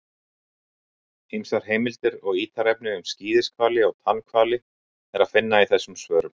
Ýmsar heimildir og ítarefni um skíðishvali og tannhvali er að finna í þessum svörum.